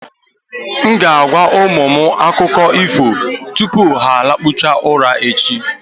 M ga-agwa ụmụ m akụkọ ifo tupu ha lakpuo ura echi.